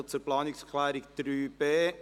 Wir kommen zur Planungserklärung 3.b.